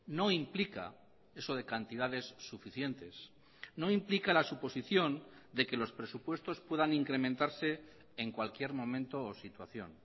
no implica eso de cantidades suficientes no implica la suposición de que los presupuestos puedan incrementarse en cualquier momento o situación